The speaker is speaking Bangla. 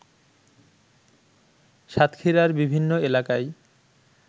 সাতক্ষীরার বিভিন্ন এলাকায়